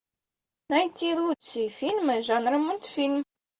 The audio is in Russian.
найти лучшие фильмы жанра мультфильм